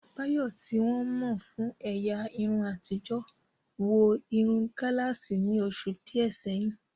Bayo, tí wọ́n mọ̀ fún ẹ̀yà irun àtijọ́ rẹ̀, wọ irun gálààsì ní oṣù díẹ̀ sẹ́yìn.